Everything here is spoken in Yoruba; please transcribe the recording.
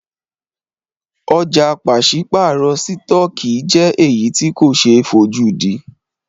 Ọ̀jà pàṣípàrọ̀ sítọ̀kì jẹ́ èyí tí ko ṣe é fojúdí.